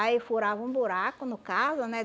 Aí furava um buraco, no caso, né?